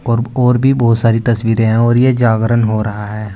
और और भी बहोत सारी तस्वीरे हैं और ये जागरण हो रहा है।